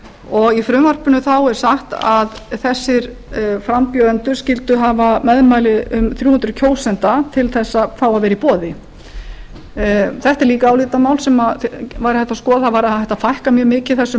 og í frumvarpinu er sagt að þessir frambjóðendur skyldu hafa meðmæli um þrjú hundruð kjósenda til að fá að vera í boði eitt er líka álitamál sem væri hægt að skoða það væri hægt að fækka mjög mikið þessum